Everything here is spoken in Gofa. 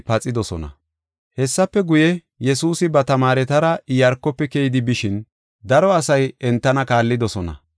Hessafe guye, Yesuusi ba tamaaretara Iyaarkofe keyidi bishin, daro asay entana kaallidosona.